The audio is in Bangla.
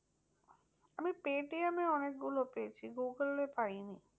আমি পেটিএমে অনেক গুলো পেয়েছি। গুগুলে পাইনি।